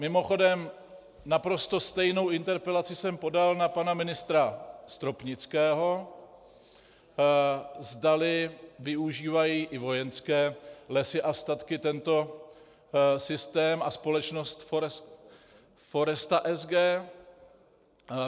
Mimochodem, naprosto stejnou interpelaci jsem podal na pana ministra Stropnického, zdali využívají i Vojenské lesy a statky tento systém a společnost Foresta SG.